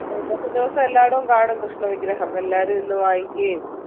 ഇപ്പൊ ഇന്നത്തെ ദിവസം എല്ലാർത്തും കാണും കൃഷ്ണ വിഗ്രഹം എല്ലാരും ഇന്ന് വാങ്ങിക്കുകയും